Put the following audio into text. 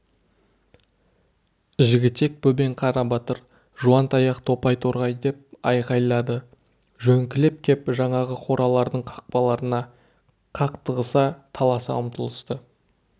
жігітек бөбең қарабатыр жуантаяқ топай торғай деп айқайлады жөңкіліп кеп жаңағы қоралардың қақпаларына қақтығыса таласа ұмтылысты